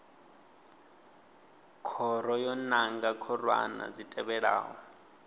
khoro yo nanga khorwana dzi tevhelaho